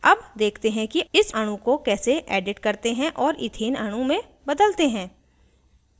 अब देखते हैं कि इस अणु को कैसे edit करते हैं और इथेन अणु में बदलते हैं